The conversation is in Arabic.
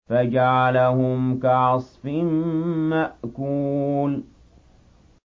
فَجَعَلَهُمْ كَعَصْفٍ مَّأْكُولٍ